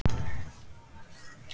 Á að refsa fyrir vinnu?